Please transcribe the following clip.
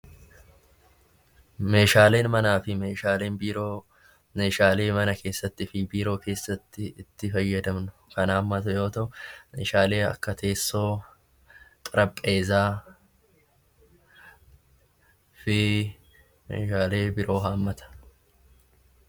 Meeshaaleen manaa fi meeshaaleen biiroo meeshaalee mana keessattiifi biiroo keessatti itti fayyadamnu Kan hammatu yoo tahu, meeshaalee akka teessoo, xarabeezzaa fi meeshaalee biroo hammata.